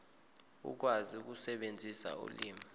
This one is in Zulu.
ukwazi ukusebenzisa ulimi